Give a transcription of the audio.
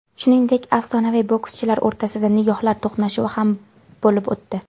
Shuningdek, afsonaviy bokschilar o‘rtasida nigohlar to‘qnashuvi ham bo‘lib o‘tdi.